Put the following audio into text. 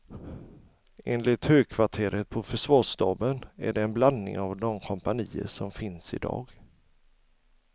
Enligt högkvarteret på försvarsstaben är det en blandning av de kompanier som finns i dag.